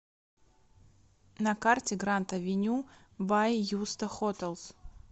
на карте гранд авеню бай юста хотелс